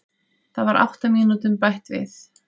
Það var átta mínútum bætt við